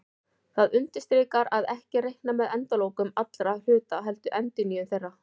Það undirstrikar að ekki er reiknað með endalokum allra hluta heldur endurnýjun þeirra.